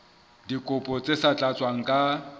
dikopo tse sa tlatswang ka